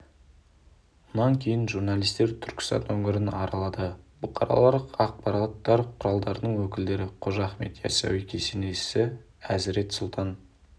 мұнан кейін журналистер түркістан өңірін аралады бұқаралық ақпарат құралдарының өкілдері қожа ахмет ясауи кесенесі әзірет сұлтан